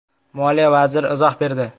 Moliya vaziri izoh berdi.